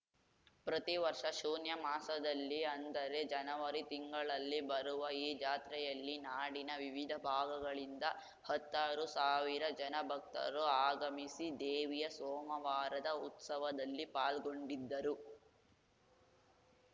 ಪ್ರತಿ ವರ್ಷ ಶೂನ್ಯ ಮಾಸದಲ್ಲಿ ಅಂದರೆ ಜನವರಿ ತಿಂಗಳಲ್ಲಿ ಬರುವ ಈ ಜಾತ್ರೆಯಲ್ಲಿ ನಾಡಿನ ವಿವಿಧ ಭಾಗಗಳಿಂದ ಹತ್ತಾರು ಸಾವಿರ ಜನ ಭಕ್ತರು ಆಗಮಿಸಿ ದೇವಿಯ ಸೋಮವಾರದ ಉತ್ಸವದಲ್ಲಿ ಪಾಲ್ಗೊಂಡಿದ್ದರು